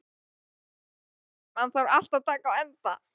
Fanný, einhvern tímann þarf allt að taka enda.